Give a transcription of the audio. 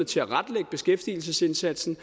tilrettelægge beskæftigelsesindsatsen